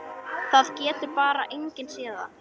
Það getur bara enginn séð það.